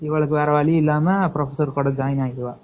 இவளுக்கு வேற வழியில்லாம professor கூட join ஆகிடுவா